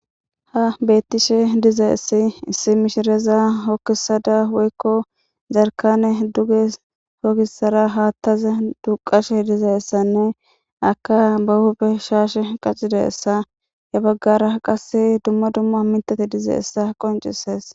Ha betishe dizaysi issi mishireza hojisada woyko yarjanne duge hista besada hatazan duqashe dizaysanne aka ba huphen shashe qachadaysa he bagara qase dumma dumma mitha dizaysa qincisese